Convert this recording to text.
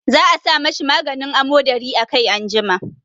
Za a sa ma shi maganin amodari a kai anjima.